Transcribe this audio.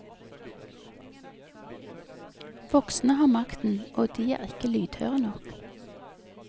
Voksne har makten, og de er ikke lydhøre nok.